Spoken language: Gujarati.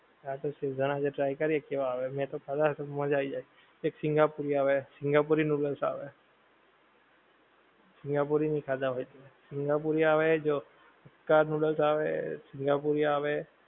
હા તો શેઝવાન આજે try કરીએ. મેતો ખાધ નથી મજા આવી જાય. એક સિંગાપુરી આવે સિંગાપુરી નૂડલ્સ આવે. સિંગાપુરી નહિ ખાધાં હોય તે! સિંગાપુરી આવે જો હક્કા નૂડલ્સ આવે, સિંગાપુરી આવે.